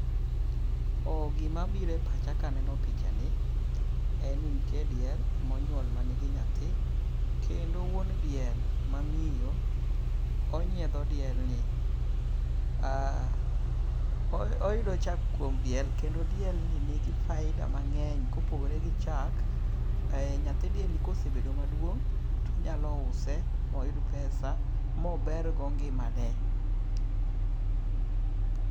Gima biro e pacha kaneno picha ni, en ni nitie diel monyuol manigi nyathi. Kendo wuon diel mamiyo onyiedho diel ni. Oyudo chak kuom diel kendo diel ni nigi faida mang'eny. Kopogore gio chak, nyathi diel ni kosebedo maduuong' to onyalo use moyud pesa mober go ngimane.